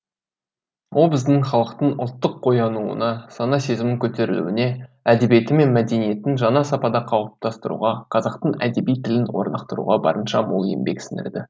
ол біздің халықтың ұлттық оянуына сана сезімінің көтерілуіне әдебиеті мен мәдениетін жаңа сапада қалыптастыруға қазақтың әдеби тілін орнықтыруға барынша мол еңбек сіңірді